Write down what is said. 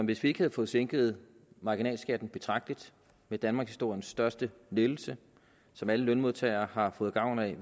hvis vi ikke havde fået sænket marginalskatten betragteligt med danmarkshistoriens største lettelse som alle lønmodtagere har fået gavn af jeg